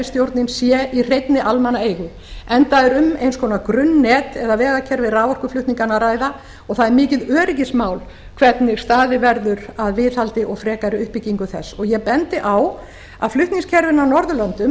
kerfisstjórnin séu í hreinni almannaeigu enda er um eins konar grunnnet eða vegakerfi raforkuflutninganna að ræða og það er mikið öryggismál hvernig staðið verður að viðhaldi og frekari uppbyggingu þess og ég bendi á að flutningskerfin á norðurlöndum